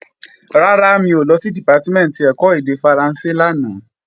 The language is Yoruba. Rárá, mi ò lọ sí Dìpátímẹ̀ntì ẹ̀kọ́ èdè Faransé lánàá